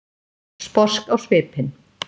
Sposk á svipinn.